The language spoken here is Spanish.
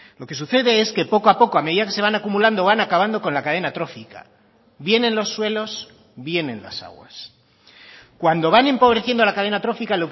lo que sucede es que poco a poco a medida que se van acumulando van acabando con la cadena atrófica bien en los suelos bien en las aguas cuando van empobreciendo la cadena atrófica